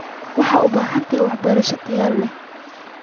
Waxa aad u baahan tahay waa waxbarasho tayo leh.